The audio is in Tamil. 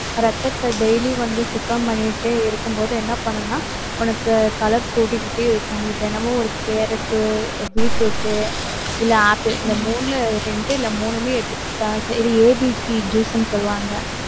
ரத்தத்தை daily வந்து சுத்தம் பண்ணிட்டே இருக்கும்போது என்ன பண்ணும்னா உனக்கு color கூடிக்கிட்டே இருக்கும் நீ தினமும் ஒரு carrot உ beetroot இல்லை apple இந்த மூணுல இரண்டு இல்லை மூணுமே எடுத்துக்கிட்டா~ இது ABC juice ன்னு சொல்லுவாங்க